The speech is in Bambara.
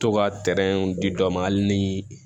To ka di dɔ ma hali ni